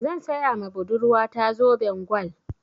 Zan saya ma budurwa ta zoben gwal.